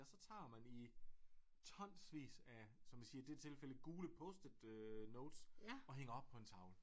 Og så tager man i tonsvis af som de siger i det tilfælde gule post-it notes og hænger op på en tavle